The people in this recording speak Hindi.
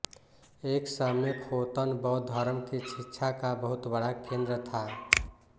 एक समय ख़ोतन बौद्ध धर्म की शिक्षा का बहुत बड़ा केंद्र था